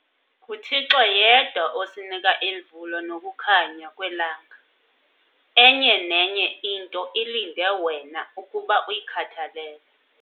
NguThixo yedwa osinika imvula nokukhanya kwelanga - enye nenye into ilinde wena ukuba uyikhathalele.